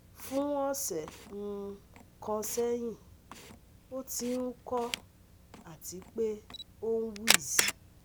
fun ọsẹ um kan sẹhin, o ti n uko ati pe oun wheeze